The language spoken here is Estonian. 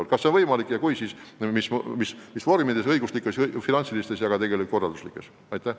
Aga kas see on võimalik ja kui on, siis millistes õiguslikes, finantsilistes ja korralduslikes vormides?